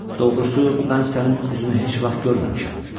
Doğrusu mən sənin üzünü heç vaxt görməmişəm."